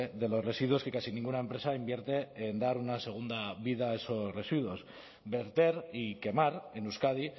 de los residuos que casi ninguna empresa invierte en dar una segunda vida a esos residuos verter y quemar en euskadi